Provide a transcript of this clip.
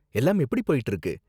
எல்லாம் எப்படி போயிட்டு இருக்கு?